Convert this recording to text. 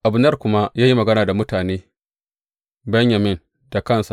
Abner kuma ya yi magana da mutane Benyamin da kansa.